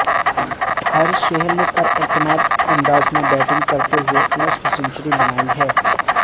حارث سہیل نے پراعتماد انداز میں بیٹنگ کرتے ہوئے نصف سنچری بنائی ہے